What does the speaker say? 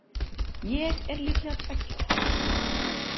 Ég er líklega tveggja ára.